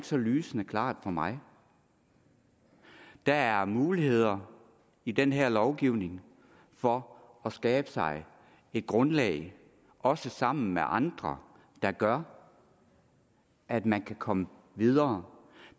så lysende klart for mig der er muligheder i den her lovgivning for at skabe sig et grundlag også sammen med andre der gør at man kan komme videre